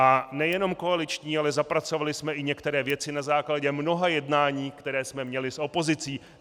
A nejenom koaliční, ale zapracovali jsme i některé věci na základě mnoha jednání, která jsme měli s opozicí.